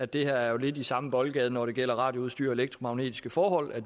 det her er lidt i samme boldgade når det gælder radioudstyr og elektromagnetiske forhold